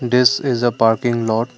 this is a parking lot.